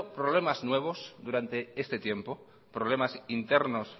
problemas nuevos durante este tiempo problemas internos